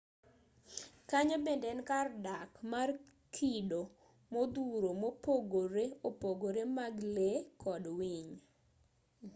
kanyo bende en kar dak mar kido modhuro mopogore opogore mag lee kod winy